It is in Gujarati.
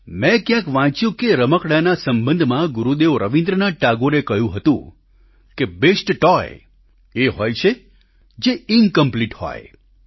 મેં ક્યાંક વાંચ્યું કે રમકડાંના સંબંધમાં ગુરુદેવ રવિન્દ્રનાથ ટાગોરે કહ્યું હતું કે બેસ્ટ ટોય એ હોય છે જે ઇન્કમ્પ્લીટ હોય